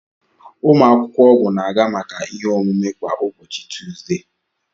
Ụmụ akwụkwọ ọgwụ na-aga maka ihe omume kwa ụbọchị Tuzde.